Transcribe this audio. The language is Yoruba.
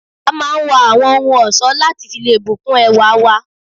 A máà ń wọ awọn ohun ọ̀ṣọ lati fi lé bu kún ẹwá wa